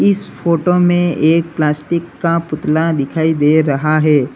इस फोटो में प्लास्टिक का पुतला दिखाई दे रहा है।